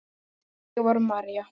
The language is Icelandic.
Þannig var María.